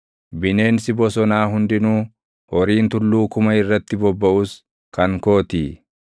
Bineensi bosonaa hundinuu, horiin tulluu kuma irratti bobbaʼus kan kootii.